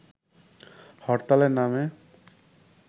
হরতালের নামে